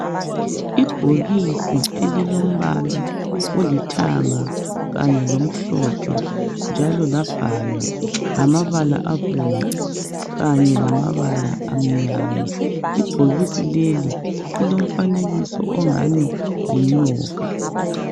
Ibhokisi elilombala olithanga kanye lomhlophe njalo labhalwa ngamabala abomvu kanye lamabala amnyama ibhokisi leli lilomfanekiso ongani yinyoka